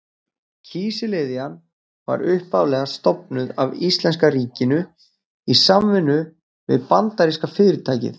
Kísiliðjan var upphaflega stofnuð af íslenska ríkinu í samvinnu við bandaríska fyrirtækið